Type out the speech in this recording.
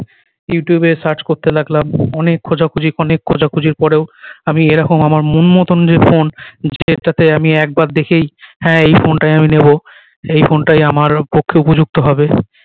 youtube এ search করতে লাগলাম অনেক খোঁজাখুঁজি অনেক খোঁজাখুঁজির পরেও আমি এ রকম আমার মন মতন যে ফোন যে টাতে আমি একবার দেখেই হ্যাঁ এই ফোন টাই আমি নিবো এই ফোন টাই আমার পক্ষে উপযুক্ত হবে